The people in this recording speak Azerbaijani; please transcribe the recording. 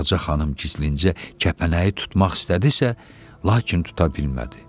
Ağaca xanım gizlincə kəpənəyi tutmaq istədisə, lakin tuta bilmədi.